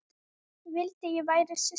Vildi ég væri systir.